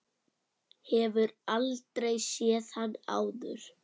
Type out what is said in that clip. Hefur aldrei séð hann áður.